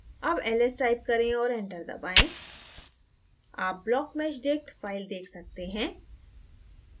अब ls type करें और enter दबाएँ आप blockmeshdict file देख सकते हैं